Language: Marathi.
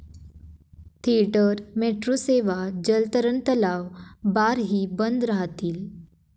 थिएटर, मेट्रो सेवा, जलतरण तलाव, बारही बंद राहतील.